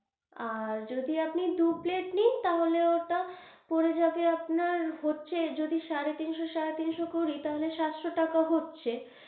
আর যদি আপনি দু plate নিন, তাহলে ওটা পরে যাবে আপনার, হচ্ছে যদি সাড়ে তিনশো সাড়ে তিনশো করি তাহলে সাতশো টাকা হচ্ছে।